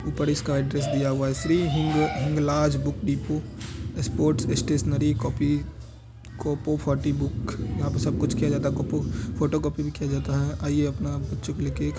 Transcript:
ऊपर इसका एड्रेस दिया हुआ हैं श्री हींग Hinglaj book depot sports stationery copy कोपो फोर्टी बुक यहाँ पे सब कुछ किया जाता हैं कोपो फोटोकॉपी भी किया जाता हैं और आइये अपना बच्चो को लिए ले के--